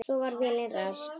Svo var vélin ræst.